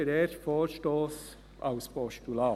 Deshalb der erste Vorstoss als Postulat.